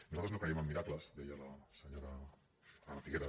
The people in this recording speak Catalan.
nosaltres no creiem en miracles deia la senyora anna figueras